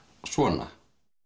svona